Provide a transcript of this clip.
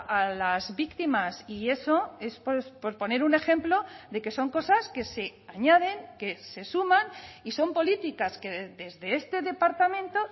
a las víctimas y eso es por poner un ejemplo de que son cosas que se añaden que se suman y son políticas que desde este departamento